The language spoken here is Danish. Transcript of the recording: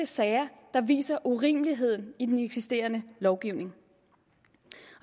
sager der viser urimeligheden i den eksisterende lovgivning